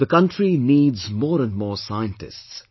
The country needs more and more scientists